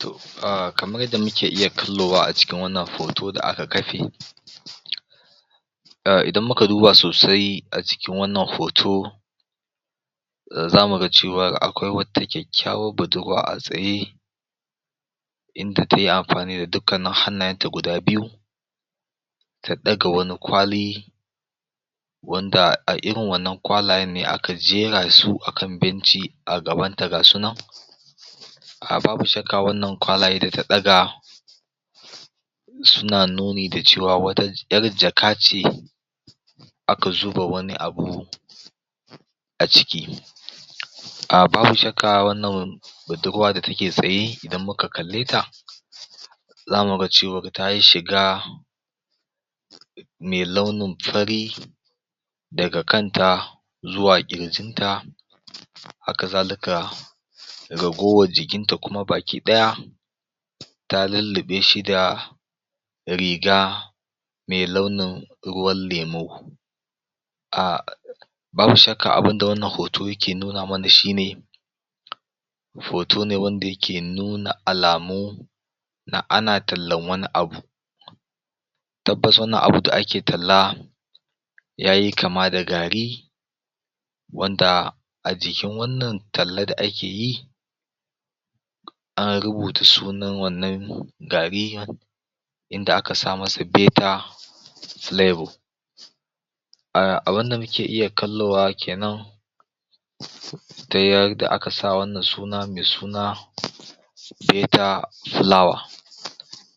To kaman yadda muke iya kallo a cikin wannan hoto da aka kafe idan muka duba sosai a cikin wannan hoto zamu ga cewa akwai wata kyakkyawar budurwa a tsaye inda tayi amfani da dukkanin hannayenta guda biyu ta ɗaga wani kwali wanda a irin wannan kwalayen ne aka jera su a kan benci a gabanta gasu na babu shakka wannan kwalayen da ta ɗaga suna nuni da cewa wata ƴar jaka ce aka zuba wani abu a ciki um babu shakka wannan budurwa da take tsaye idan muka kalleta zamu ga cewar tayi shiga mai launin fari daga kanta zuwa ƙirjinta hakazalika garowar jikinta kuma baki ɗaya ta lulluɓe shi da riga mai launin ruwan lemu um Babu shakka abunda wannan hoto yake nuna mana shine hoto ne wanda yake nuna mana alamu na ana tallenwani abu Tabbas wannan abu da ake talla yayi kama da gari wanda a jikin wannan talla da ake yi an rubuta sunan wannan gari har inda aka sa masa "Better Flavor" um abunda muke iya kallowa kenan ta yadda aka sa wannan suna mai suna "Better Flour"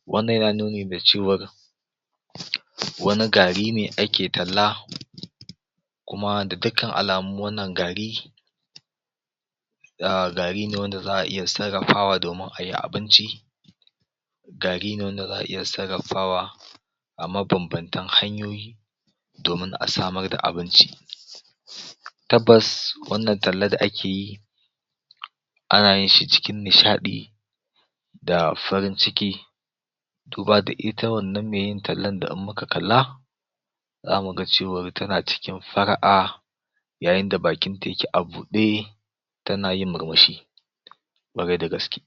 Wannan yana nuni da cewar wani gari ne ake talla kuma da dukka alamu wannan gari um gari ne wanda za a iya sarrafawa ayi abinci gari ne wanda za a iya sarrafawa a mabambantan hanyoyi domin a samar da abinci tabbas wannan talla da ake yi ana yin shi cikin nishaɗi da farin ciki duba da ita wannan me yin tallan da in muka kalla zamu ga cewar tana cikin fara'a yayin da bakin ta yake a buɗe tana yin murmushi ƙwarai da gaske.